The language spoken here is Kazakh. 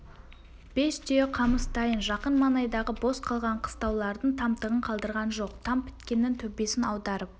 бес түйе қамыс дайын жақын маңайдағы бос қалған қыстаулардың тамтығын қалдырған жоқ там біткеннің төбесін аударып